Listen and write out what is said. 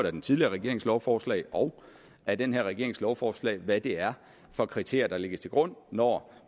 af den tidligere regerings lovforslag og af den her regerings lovforslag hvad det er for kriterier der lægges til grund når